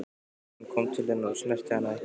Hann kom til hennar en snerti hana ekki.